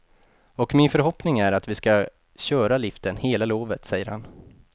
Och min förhoppning är att vi skall köra liften hela lovet, säger han.